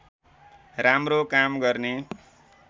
राम्रो काम गर्ने